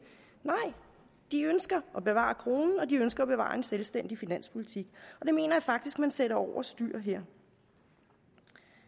nej de ønsker at bevare kronen og de ønsker at bevare en selvstændig finanspolitik og det mener jeg faktisk man sætter over styr her